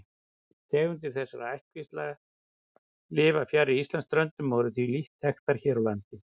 Tegundir þessara ættkvísla lifa fjarri Íslandsströndum og eru því lítt þekktar hér á landi.